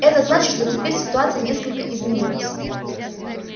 это значит что теперь ситуация несколько изменилась